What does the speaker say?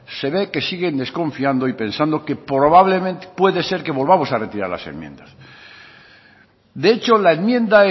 se ve que siguen desconfiando y pensando que probablemente puede ser que volvamos a retirar las enmiendas de hecho la enmienda